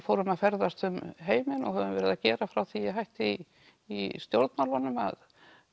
fórum að ferðast um heiminn og höfum verið að gera frá því ég hætti í stjórnmálunum að